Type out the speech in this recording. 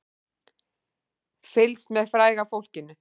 Fylgst með fræga fólkinu